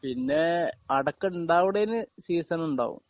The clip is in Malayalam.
പിന്നെ അടക്ക ഉണ്ടാവണതിന് സീസൺ ഉണ്ടാവും